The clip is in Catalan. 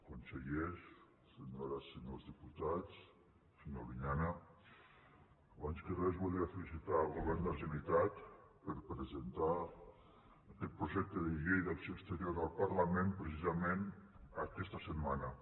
consellers senyores i senyors diputats senyor albinyana abans que res volia felicitar el govern de la generalitat per presentar aquest projecte de llei d’acció exterior al parlament precisament aquesta setmana